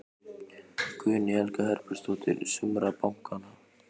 Guðný Helga Herbertsdóttir: Sumra bankanna?